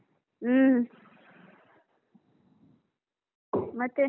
ಹೂಂ. ಮತ್ತೆ.